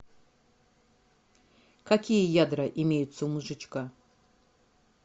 какие ядра имеются у мозжечка